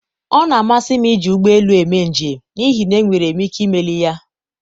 ọ na-amasị m iji ụgbọ elu eme njem n'ihi na enwere m ike imeli ya.